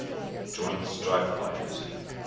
joint strike fighter